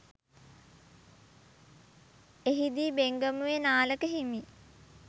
එහිදී බෙංගමුවේ නාලක හිමි